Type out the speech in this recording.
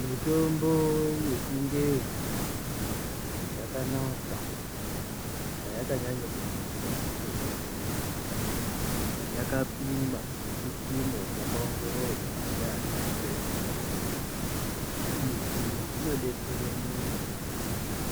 Mutombo wechingezi wakanaka payakanyanyira kunaka ndepekuti yakapimwa nechipimo chakaongororwa ndivana chiremba izvi zvinodetsera vantu kuti